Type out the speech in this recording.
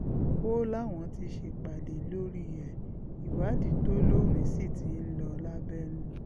ó láwọn ti ṣèpàdé lórí ẹ̀ ìwádìí tó lóòrìn sí ti ń lọ lábẹ́nú